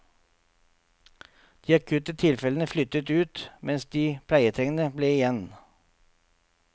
De akutte tilfellene flyttet ut, mens de pleietrengende ble igjen.